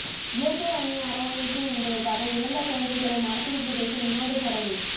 இயற்கை அன்னை அரவணைக்கும் என்பதற்காக இறந்த குழந்தைகளை மரத்தில் புதைக்கும் வினோத சடங்கு